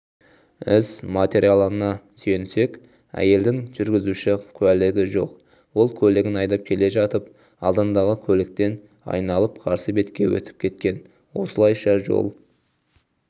іс материалына сүйенсек әйелдің жүргізуші куәлігі жоқ ол көлігін айдап келе жатып алдындағы көліктен айналып қарсы бетке өтіп кеткен осылайша жол